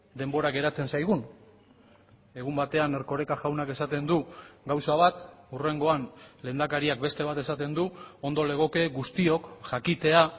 denbora geratzen zaigun egun batean erkoreka jaunak esaten du gauza bat hurrengoan lehendakariak beste bat esaten du ondo legoke guztiok jakitea